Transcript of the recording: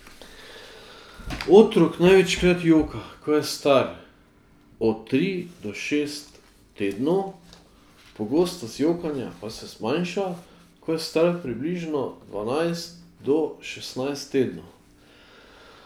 Otrok največkrat joka, ko je star od tri do šest tednov, pogostost jokanja pa se zmanjša, ko je star približno dvanajst do šestnajst tednov.